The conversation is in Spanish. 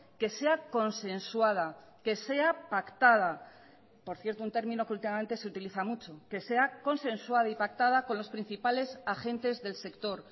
que sea consensuada que sea pactada por cierto un término que últimamente se utiliza mucho que sea consensuada y pactada con los principales agentes del sector